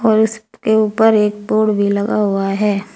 और उसके ऊपर एक बोर्ड भी लगा हुआ है।